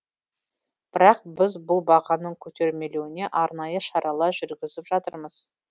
бірақ біз бұл бағаның көтерілмеуіне арнайы шаралар жүргізіп жатырмыз